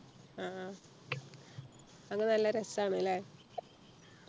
ആഹ് അത് നല്ല രസാണ് അല്ലെ